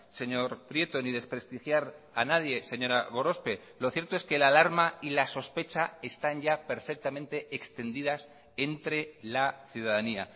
señor prieto ni desprestigiar a nadie señora gorospe lo cierto es que la alarma y la sospecha están ya perfectamente extendidas entre la ciudadanía